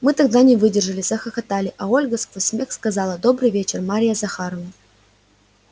мы тогда не выдержали захохотали а ольга сквозь смех сказала добрый вечер марья захаровна